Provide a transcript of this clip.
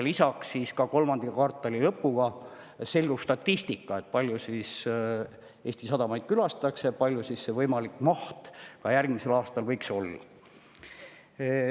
Lisaks selgub ka kolmanda kvartali lõpu seisuga statistika, kui palju siis Eesti sadamaid külastatakse ja kui suur see võimalik maht järgmisel aastal võiks olla.